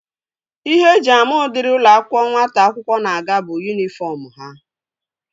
Ihe eji ama udiri ụlọ akwụkwọ nwata akwụkwọ na-aga bụ yunifọm ha